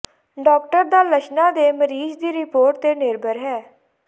doctor ਦਾ ਲੱਛਣਾਂ ਦੇ ਮਰੀਜ਼ ਦੀ ਰਿਪੋਰਟ ਤੇ ਨਿਰਭਰ ਹੈ